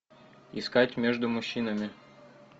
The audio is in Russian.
искать между мужчинами